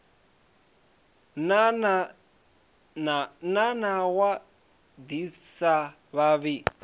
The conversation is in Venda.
na nawa ḓi sa vhavhi